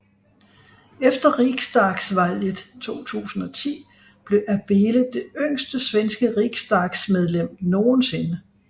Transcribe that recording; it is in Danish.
Efter riksdagsvalget 2010 blev Abele det yngste svenske riksdagsmedlem nogen sinde